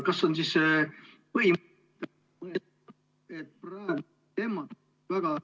Kas on ... [Ühendus hakib.